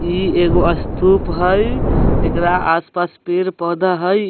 ई एगो स्तूप हई एकरा आसपास पेड़-पौधा हई।